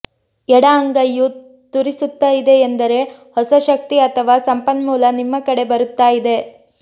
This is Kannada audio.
ಎಡ ಅಂಗೈಯು ತುರಿಸುತ್ತಾ ಇದೆ ಎಂದರೆ ಹೊಸ ಶಕ್ತಿ ಅಥವಾ ಸಂಪನ್ಮೂಲ ನಿಮ್ಮ ಕಡೆ ಬರುತ್ತಾ ಇದೆ